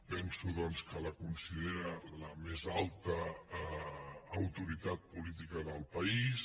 penso doncs que la considera la més alta autoritat política del país